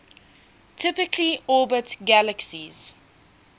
typically orbit galaxies